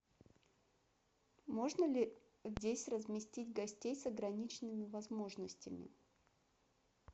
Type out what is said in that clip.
можно ли здесь разместить гостей с ограниченными возможностями